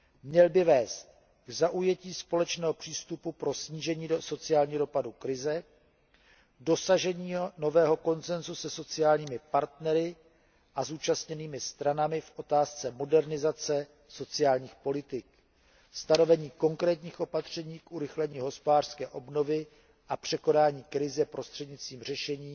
Měl by vést k zaujetí společného přístupu pro snížení sociálního dopadu krize, dosažení nového konsenzu se sociálními partnery a zúčastněnými stranami v otázce modernizace sociálních politik a stanovení konkrétních opatření k urychlení hospodářské obnovy a překonání krize prostřednictvím řešení